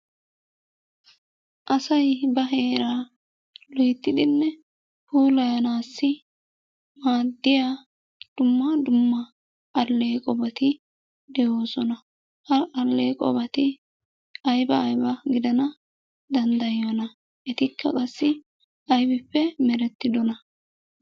Asay ba heeraa loyttidinne puulayanaassi maaddiya dumma dumma alleeqobati de'oosona. Ha alleeqobati ayba ayba gidana danddayiyonaa? Etikka qassi aybippe merettidonaa?